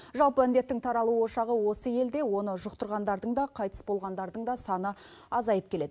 жалпы індеттің таралу ошағы осы елде оны жұқтырғандардың да қайтыс болғандардың да саны азайып келеді